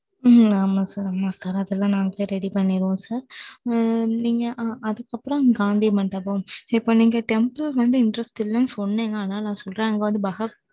ஆமா ஆமா sir அதெல்லாம் நாங்களே ready பண்ணிடுவோம், sir நீங்க, அதுக்கு அப்புறம் காந்தி மண்டபம். இப்ப நீங்க temple வந்து interest இல்லைன்னு சொன்னீங்க. அதனால நான் சொல்றேன். அங்க வந்து